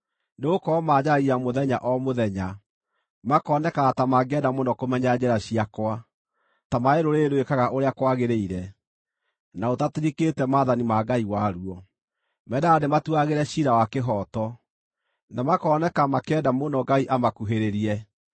Nĩgũkorwo manjaragia mũthenya o mũthenya; makonekaga ta mangĩenda mũno kũmenya njĩra ciakwa, ta marĩ rũrĩrĩ rwĩkaga ũrĩa kwagĩrĩire, na rũtatirikĩte maathani ma Ngai waruo. Mendaga ndĩmatuagĩre ciira wa kĩhooto, na makoneka makĩenda mũno Ngai amakuhĩrĩrie.